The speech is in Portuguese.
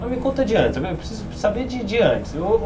Mas me conta de antes, eu preciso saber de de antes.